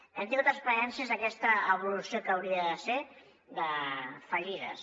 hem tingut experiències d’aquesta evolució que hauria de ser fallides